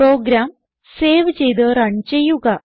programme save ചെയ്ത് run ചെയ്യുക